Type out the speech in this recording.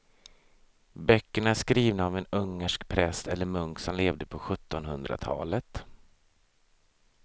Böckerna är skrivna av en ungersk präst eller munk som levde på sjuttonhundratalet.